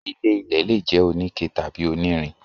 ilé-ilẹ̀ lè jẹ́ oníke tàbí onírin.